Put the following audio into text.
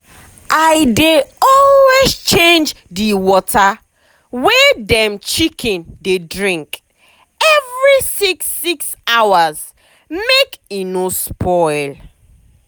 i dey always change the water wey dem chicken dey drink every six six hours make e no go spoil.